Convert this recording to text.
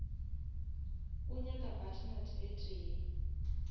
o nyaka butternut e tee